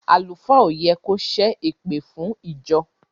Àlùfáà o yẹ kò se èpèfún ìjọ.